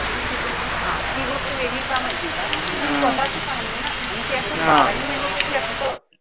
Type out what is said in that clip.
हा ती गोष्ट वेगळीये. का माहितीये का? कारण स्वतःच कामय ना. आणि ते असं बारी महिने थोडी असत.